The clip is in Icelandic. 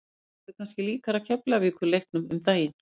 Þetta verður kannski líkara Keflavíkur leiknum um daginn.